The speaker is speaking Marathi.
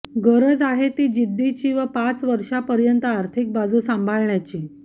गरज आहे ती जिद्दीची व पाच वर्षापर्यंत आर्थिक बाजू सांभाळण्याची